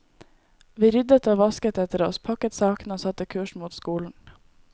Vi ryddet og vasket etter oss, pakket sakene, og satte kursen mot skolen.